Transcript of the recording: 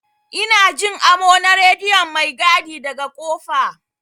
Ina Jin amo na rediyon maigadi daga kofa.